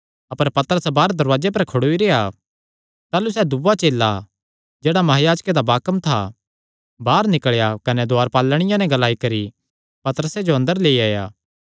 अपर पतरस बाहर दरवाजे पर खड़ोई रेह्आ ताह़लू सैह़ दूआ चेला जेह्ड़ा महायाजके दा बाकम था बाहर निकल़ेया कने दुआरपालिनिया नैं ग्लाई करी पतरसे जो अंदर लेई आया